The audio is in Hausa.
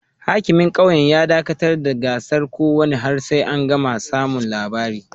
Hakimin kauyen ya dakatar da gasar kokawa har sai an samu labari